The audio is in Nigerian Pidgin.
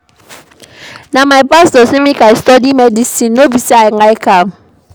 Na my pastor sey make I study medicine no be sey I like am.